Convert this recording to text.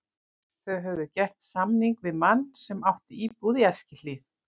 Þau höfðu gert samning við mann sem átti íbúð í Eskihlíð.